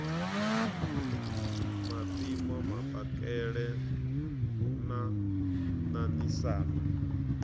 a mpimo mapakele na ṋaṋisana